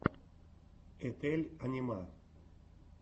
етель анима